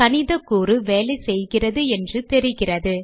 கணிதக்கூறு வேலை செய்கிறது என்று தெரிகிறது